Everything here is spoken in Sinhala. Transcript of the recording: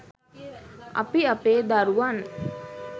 අපි අපේ දරුවන්